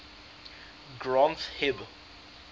granth hib